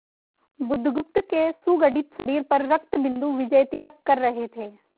बुधगुप्त के सुगठित शरीर पर रक्तबिंदु विजयतिलक कर रहे थे